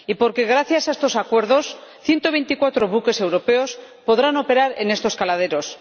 Y porque, gracias a estos acuerdos, 124 buques europeos podrán operar en estos caladeros